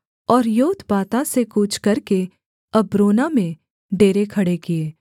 और योतबाता से कूच करके अब्रोना में डेरे खड़े किए